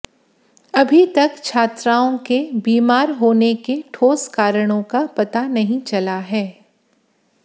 अभी तक छात्राओं के बीमार होने के ठोस कारणों का पता नहीं चला है